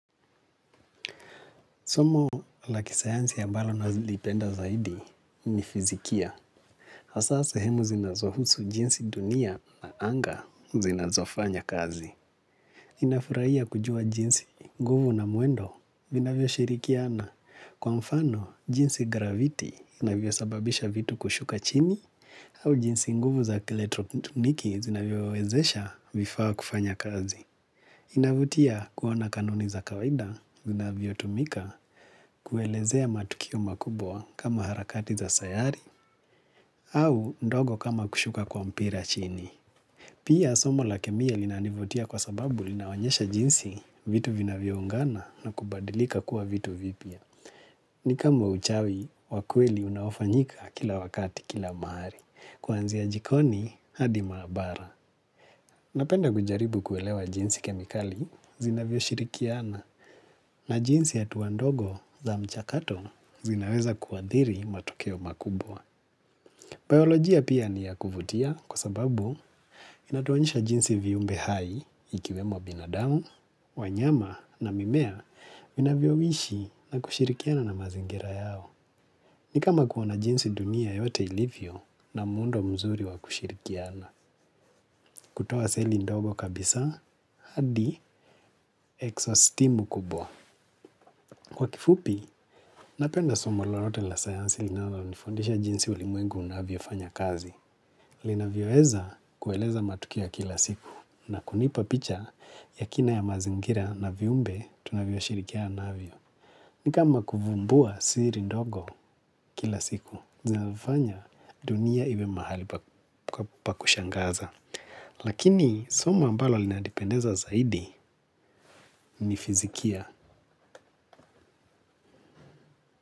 Somo la kisayansi ambalo na zilipenda zaidi ni fizikia. Hasa sehemu zinazohusu jinsi dunia na anga zinazofanya kazi. Ninafurahia kujua jinsi nguvu na mwendo vinavyo shirikiana. Kwa mfano, jinsi graviti inavyo sababisha vitu kushuka chini au jinsi nguvu za keletroniki zinavyo wezesha vifaa kufanya kazi. Inavutia kuona kanuni za kawaida zinavyo tumika kuelezea matukio makubwa kama harakati za sayari au ndogo kama kushuka kwa mpira chini. Pia somo la kemiye linanivutia kwa sababu linawanyesha jinsi vitu vinavyo ungana na kubadilika kuwa vitu vipya. Ni kama uchawi wakweli unaofanyika kila wakati kila mahari kuanzia jikoni hadi maabara napenda kujaribu kuelewa jinsi kemikali zinavyo shirikiana na jinsi hatuandogo za mchakato zinaweza kuadhiri matokeo makubwa. Biologia pia ni ya kuvutia kwa sababu inatuonyesha jinsi viumbe hai ikiwe mwa binadamu, wanyama na mimea vinavyo ishi na kushirikiana na mazingira yao. Ni kama kuona jinsi dunia yote ilivyo na muundo mzuri wa kushirikiana. Kutoa seli ndogo kabisa, hadi eksostimu kubwa. Kwa kifupi, napenda somo lolote la sayansi linalo nifundisha jinsi ulimwengu unavyo fanya kazi. Linavyo eza kueleza matukio ya kila siku na kunipa picha ya kina ya mazingira na viumbe tunavyo shirikiana navyo. Ni kama kuvumbua siri ndogo kila siku, zinafanya dunia iwe mahali pakushangaza. Lakini somo ambalo linani pendeza zaidi ni fizikia.